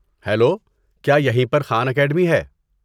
Hello, کیا یہی پر خان اکیڈمی ہے؟